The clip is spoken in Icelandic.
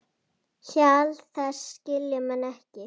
Hjal þess skilja menn ekki.